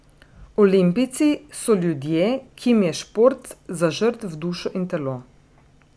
Olimpijci so ljudje, ki jim je šport zažrt v dušo in telo.